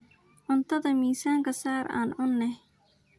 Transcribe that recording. Cuntadha mizka saar aan cunex.